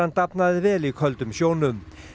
dafnaði vel í köldum sjónum